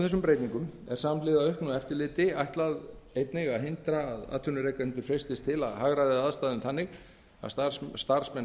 þessum breytingum samhliða auknu eftirliti er meðal annars ætlað að hindra að atvinnurekendur freistist til þess að hagræða aðstæðum þannig að starfsmenn þeirra